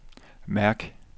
mærk